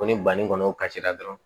Ko ni banni kɔni kasira dɔrɔn